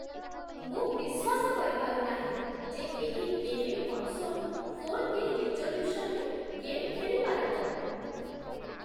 ମୁଁ ବିଶ୍ୱାସ କରିପାରୁ ନାହିଁ ଯେ ଏହି ଗେମିଂ କନ୍ସୋଲ୍ ଫୋର୍ କେ ରିଜୋଲ୍ୟୁସନ୍‌ରେ ଗେମ୍ ଖେଳିପାରିବ!